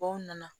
Baw nana